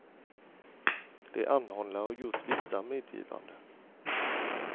De anhållna har gjort vissa medgivanden.